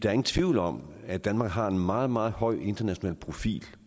er ingen tvivl om at danmark har en meget meget høj international profil